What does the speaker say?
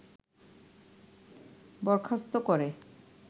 বরখাস্ত করে